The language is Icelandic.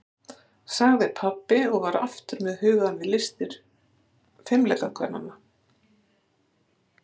sagði pabbi og var aftur með hugann við listir fimleikakvennanna.